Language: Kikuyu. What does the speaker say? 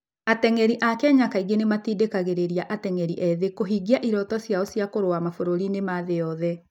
Ateng'eri a Kenya kaingĩ nĩ matindĩkagĩrĩria ateng'eri ethĩ kũhingia iroto ciao cia kũrũa mabũrũri-inĩ ma thĩ yothe.